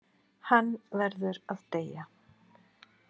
Hann verður að deyja.